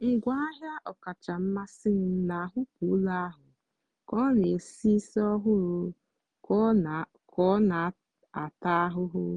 ngwaahịa ọkacha mmasị m na-ahapụ ụlọ ahụ ka ọ na-esi ísì ọhụrụ ka ọ na-ata ahụhụ.